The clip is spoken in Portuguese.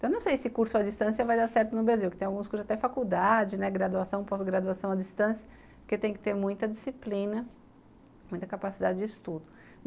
Eu não sei se curso à distância vai dar certo no Brasil, porque tem alguns cursos até faculdade, graduação, pós-graduação à distância, porque tem que ter muita disciplina, muita capacidade de estudo.